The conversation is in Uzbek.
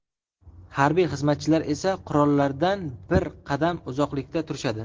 Harbiy xizmatchilar esa qurollardan bir qadam uzoqlikda turishadi.